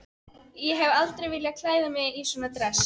Ég hef aldrei viljað klæða mig í svona dress.